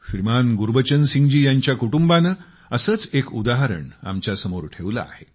श्रीमान गुरबचन सिंग जी यांच्या कुटुंबाने असेच एक उदाहरण आमच्या समोर ठेवले आहे